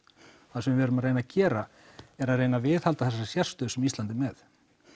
það sem við erum að reyna að gera er að reyna að viðhalda þessari sérstöðu sem Ísland er með